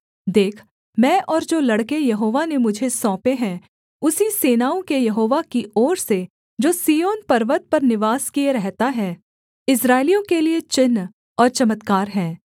देख मैं और जो लड़के यहोवा ने मुझे सौंपे हैं उसी सेनाओं के यहोवा की ओर से जो सिय्योन पर्वत पर निवास किए रहता है इस्राएलियों के लिये चिन्ह और चमत्कार हैं